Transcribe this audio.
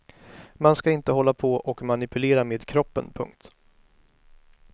Man ska inte hålla på och manipulera med kroppen. punkt